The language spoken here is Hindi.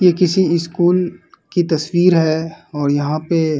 ये किसी स्कूल की तस्वीर है और यहाँ पे --